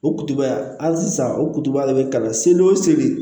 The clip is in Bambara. O kutuba hali sisan o kuturuba de bɛ kalan seli o seli